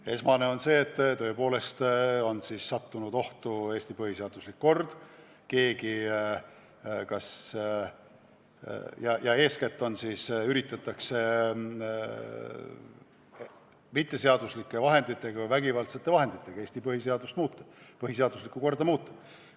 Põhiline tunnus on see, et tõepoolest on ohtu sattunud Eesti põhiseaduslik kord ja üritatakse mitteseaduslike vahenditega, ehk ka vägivaldsete vahenditega Eesti põhiseaduslikku korda muuta.